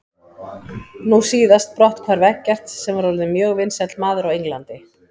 Nú síðast brotthvarf Eggerts sem var orðinn mjög vinsæll maður á Englandi.